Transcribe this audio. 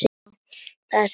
Það sæmdi ekki reisn þinni.